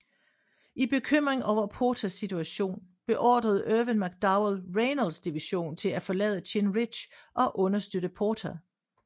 I bekymring over Porters situation beordrede Irvin McDowell Reynolds division til at forlade Chinn Ridge og understøtte Porter